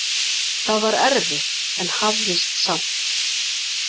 Það var erfitt en hafðist samt.